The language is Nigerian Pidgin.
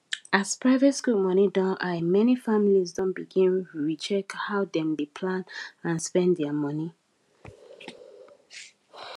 as private school moni don high many families don begin recheck how dem dey plan and spend their moni